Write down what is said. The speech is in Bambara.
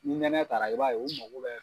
Ni nɛnɛ taara i b'a ye, u mago bɛ